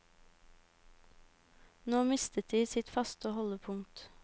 Nå mister de sitt faste holdepunkt.